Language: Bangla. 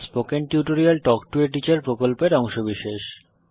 spoken tutorial talk to a teacher প্রকল্পের অংশবিশেষ